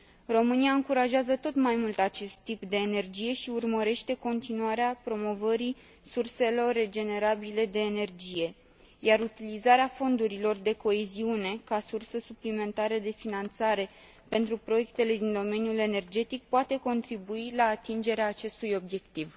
România încurajează tot mai mult acest tip de energie și urmărește continuarea promovării surselor regenerabile de energie, iar utilizarea fondurilor de coeziune ca sursă suplimentară de finanțare pentru proiectele din domeniul energetic poate contribui la atingerea acestui obiectiv.